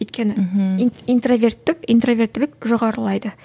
өйткені мхм интроверттік интроверттілік жоғарылайды